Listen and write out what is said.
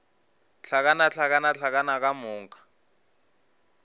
hlakana hlakana hlakana ka moka